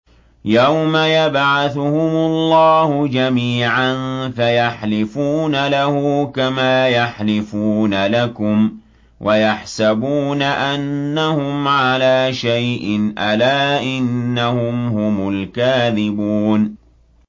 يَوْمَ يَبْعَثُهُمُ اللَّهُ جَمِيعًا فَيَحْلِفُونَ لَهُ كَمَا يَحْلِفُونَ لَكُمْ ۖ وَيَحْسَبُونَ أَنَّهُمْ عَلَىٰ شَيْءٍ ۚ أَلَا إِنَّهُمْ هُمُ الْكَاذِبُونَ